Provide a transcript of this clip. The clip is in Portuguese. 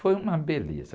Foi uma beleza.